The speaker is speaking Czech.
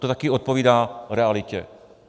To taky odpovídá realitě.